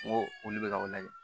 N ko olu bɛ ka o lajɛ